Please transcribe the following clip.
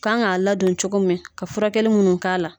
Kan k'a ladon cogo min ka furakɛli munnu k'a la